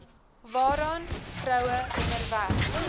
waaraan vroue onderwerp